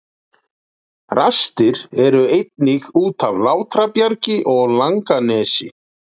Rastir eru einnig út af Látrabjargi og Langanesi.